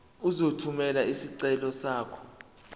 uzothumela isicelo sakho